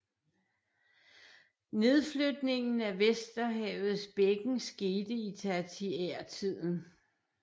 Nedflytningen af Vesterhavets bækken skete i tertiærtiden